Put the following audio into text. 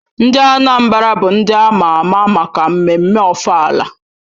Ndị Anambra bụ ndị ama ama maka mmemme ofala